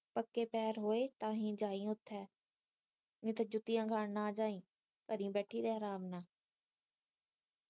ਪੱਕੇ ਪੈਰ ਹੋਏ ਤਾਂ ਹੀ ਜਾਈ ਉੱਥੇ ਨਹੀਂ ਤੇ ਜੁੱਤੀਆਂ ਖਾਨ ਨਾ ਜਾਈ ਘੜੀ ਬੈਠੀ ਰਹਿ ਅਰਾਮ ਨਾਲ